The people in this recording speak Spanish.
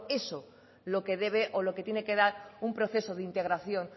eso lo que debe o lo que tiene que dar un proceso de integración